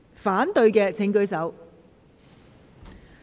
反對的請舉手。